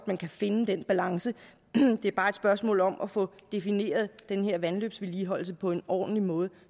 man kan finde den balance det er bare et spørgsmål om at få defineret den her vandløbsvedligeholdelse på en ordentlig måde